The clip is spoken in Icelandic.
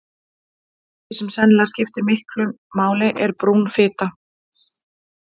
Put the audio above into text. Eitt af því sem sennilega skiptir miklu máli er brún fita.